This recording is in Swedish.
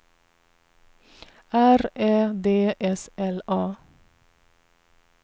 R Ä D S L A